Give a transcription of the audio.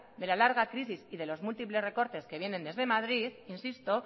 de la larga crisis y de los múltiples recortes que viene desde madrid insisto